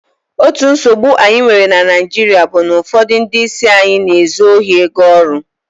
otu nsogbu anyi nwere na naijiria bu na ufodu ndi isi anyi n'ezu ohi ego oru